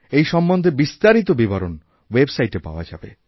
এই সম্বন্ধে বিস্তারিত বিবরণ ওয়েবসাইটে পাওয়াযাবে